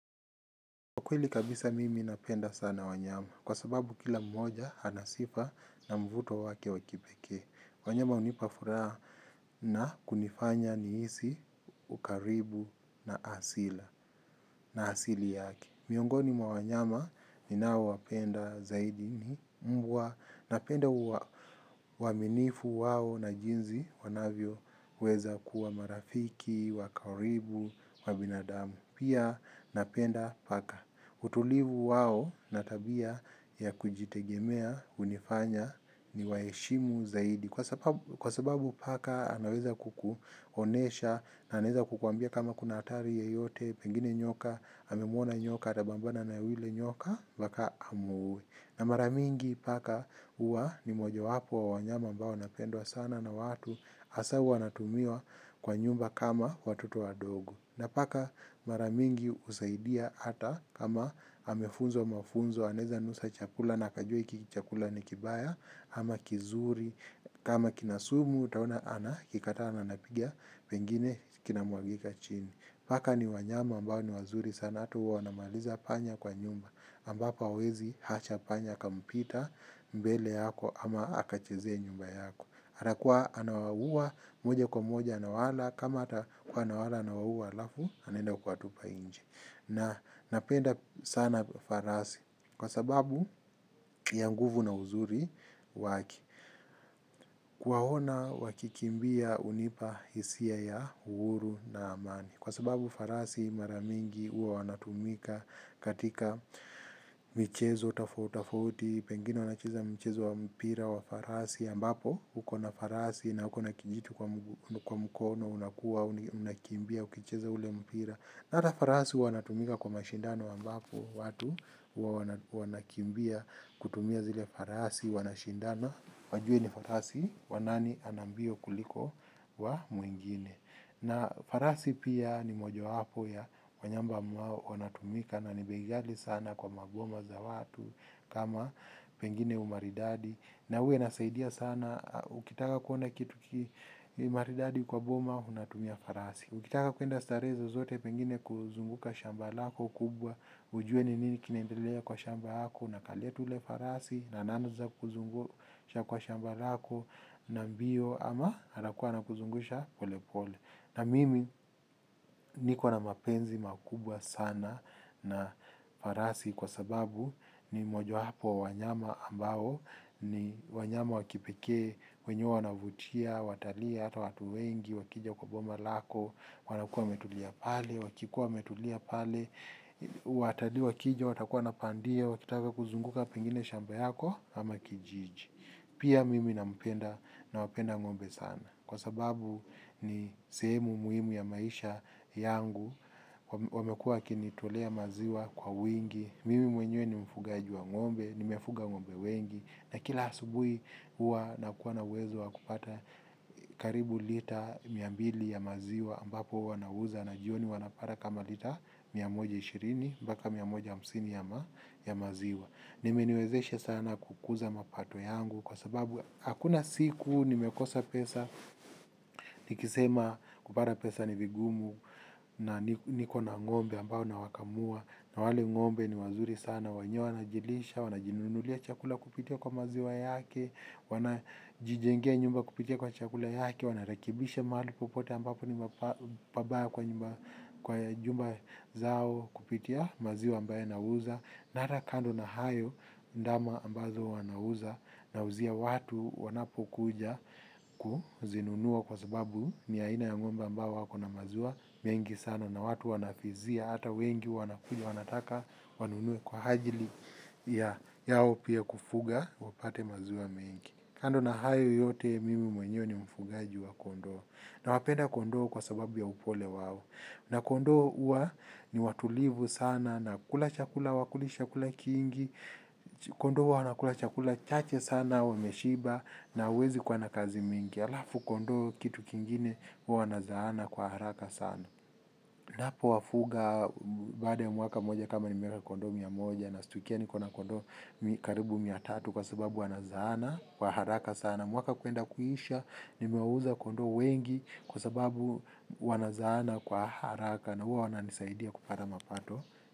Kwa kweli kabisa mimi napenda sana wanyama, kwa sababu kila mmoja anasifa na mvuto wake wa kipekee. Wanyama hunipafuraha na kunifanya nihisi ukaribu na asili, na asili yaki. Miongoni mwa wanyama ninao wapenda zaidi ni mbwa. Napenda uaminifu wao na jinsi wanavyo weza kuwa marafiki, wa karibu, wa binadamu. Pia napenda paka utulivu wao na tabia ya kujitegemea hunifanya ni wa heshimu zaidi. Kwa sababu paka anaweza kukuonyesha na anaweza kukuambia kama kuna hatari yoyote. Pengine nyoka, amemuona nyoka atapambana na yule nyoka mpaka amuue. Na mara mingi paka huwa ni moja wapo wa wanyama mbao wanapendwa sana na watu hasa huwa wanatumiwa kwa nyumba kama watoto wa dogo. Na paka mara nyingi husaidia hata kama amefunzwa mafunzo, anaweza nusa chakula na kajua hiki chakula ni kibaya, ama kizuri, kama kina sumu utaona anakikataa na anakipiga, pengine kinamwagika chini. Paka ni wanyama ambao ni wazuri sana hata huwa wanamaliza panya kwa nyumba ambapo hawezi kuacha panya akapita mbele yako ama akachezea nyuma yako. Atakuwa anawaua moja kwa moja anawala kama hata kuwa nawala, anawaua alafu anenda kuwa tupa nje. Napenda sana farasi kwa sababu ya mguvu na uzuri waki. Kuwaona wa kikimbia hunipa hisia ya uhuru na amani kwa sababu farasi mara mingi huwa wanatumika katika michezo, tofauti tofauti, pengine wanacheza michezo wa mpira wa farasi ambapo. Uko na farasi na ukona kijiti kwa mkono unakimbia ukicheza ule mpira na hata farasi wanatumika kwa mashindano ambapo watu huwa wanakimbia kutumia zile farasi wanashindano. Wajue ni farasi wa nani anambio kuliko wa mwingine. Na farasi pia ni moja wapo ya wanyama ambao wanatumika na ni bei ghali sana kwa magoma za watu kama pengine umaridadi. Na uwe inasaidia sana, ukitaka kuona kitu maridadi kwa boma, unatumia farasi. Ukitaka kwenda starehe zozote pengine kuzunguka shamba lako kubwa. Ujue ni nini kinaendelea kwa shamba lako unakalia tu yule farasi na anaanza kukuzungusha kwa shamba lako na mbio ama anakuwa anakuzungusha pole pole. Mimi niko na mapenzi makubwa sana na farasi kwa sababu ni moja wapo wa wanyama ambao ni wanyama wa kipekee wenye huwa wanavutia watalia, hatu wengi, wakija kwa boma lako, wanakua metulia pale, wakikua metulia pale. Watalii wakija watakuwa napandia wakitaka kuzunguka pengine shamba yako ama kijiji. Pia mimi na mpenda na wapenda ngombe sana kwa sababu ni sehemu muhimu ya maisha yangu wamekuwa wakinitolea maziwa kwa wingi, mimi mwenye ni mfugaji wa ngombe ni mefuga ngombe wengi na kila asubuhi huwa na kuwa na uwezo wa kupata karibu lita mia mbili ya maziwa ambapo huwa nauza na jioni napata kama lita mia moja ishirini mpaka mia moja hamsini ya maziwa. Imeniwezeshe sana kukuza mapato yangu kwa sababu hakuna siku nimekosa pesa nikisema kupata pesa ni vigumu niko na ngombe ambao nawakamua na wale ngombe ni wazuri sana, wenyewe wanajilisha, wanajinunulia chakula kupitia maziwa yake, wanajijengea nyumba kupitia chakula yake, wanarekebisha mahali popote ambapo ni pabaya kwa jumba zao kupitia maziwa ambaye na uza. Nahata kando na hayo, ndama ambazo wa na uzia watu wanapokuja kuzinunua kwa sababu ni aina ya ng'ombe ambao wako na maziwa mengi sano na watu wanafizia hata wengi wanakuja wanataka wanunue kwa ajili yao pia kufuga wapate maziwa mengi. Kando na hayo yote mimi mwenyewe ni mfugaji wa kondo na wapenda kondo kwa sababu ya upole wao na kondoo huwa ni watulivu sana, hawakuli chakula kingi, kondoo huwa wanakula chakula chache sana wameshiba na huwezi kuwa na kzai mingi halafu kondo kitu kingine huwa wanazaana kwa haraka sana. Unapo wafuga baada ya mwaka moja kama nimeweka kondoo mia moja na stukia niko na kondoo karibu mia tatu kwa sababu wanazaana kwa haraka sana. Mwaka kwenda kuisha, nimewauza kondoo wengi kwa sababu wanazana kwa haraka na wana nisaidia kupata mapato.